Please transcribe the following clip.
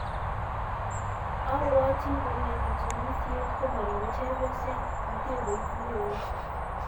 Abwati kole katunisiet komoribe chepyoset, mtegoit neo.